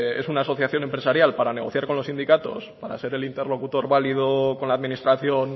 una asociación empresarial para negociar con los sindicatos para ser el interlocutor válido con la administración